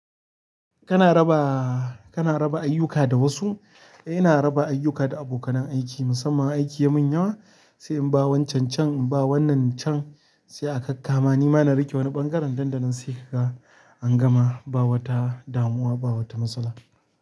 Kana raba, kana raba ayyuka da wasu? Ina raba ayyuka da abokanan aiki musamman idan aiki yamin yawa sai in ba wancan can, in ba wannan can sai a kakkama. Ni ma na riƙe wani ɓangaren ɗanɗanon sai ka ga an gama ba wata damuwa ba wata matsala.